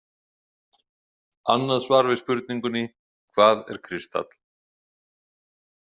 Annað svar við spurningunni „Hvað er kristall?“